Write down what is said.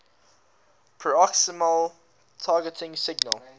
peroxisomal targeting signal